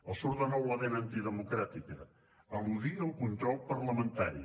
els surt de nou la vena antidemocràtica eludir el control parlamentari